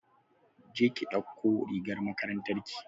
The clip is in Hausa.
je ki ɗauko rigar makarantar ki!